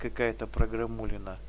какая-то программулина